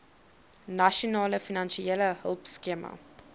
nasionale finansiële hulpskema